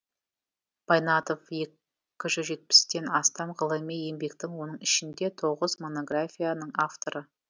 байнатов екі жүз жетпістен астам ғылыми еңбектің оның ішінде тоғыз монографияның авторы